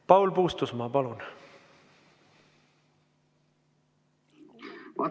Paul Puustusmaa, palun!